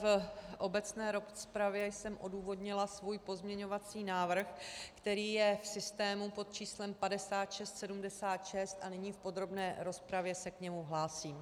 V obecné rozpravě jsem odůvodnila svůj pozměňovací návrh, který je v systému pod číslem 5676, a nyní v podrobné rozpravě se k němu hlásím.